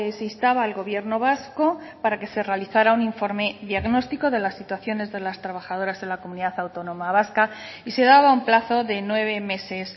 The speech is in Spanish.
se instaba al gobierno vasco para que se realizara un informe diagnóstico de las situaciones de las trabajadoras en la comunidad autónoma vasca y se daba un plazo de nueve meses